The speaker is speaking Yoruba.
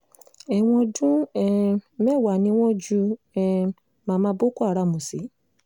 ẹ̀wọ̀n ọdún um mẹ́wàá ni wọ́n ju um mama boko haram sí